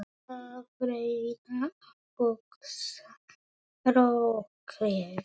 Að reyna að hugsa rökrétt